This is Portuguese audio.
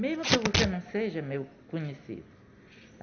Mesmo que você não seja meu conhecido.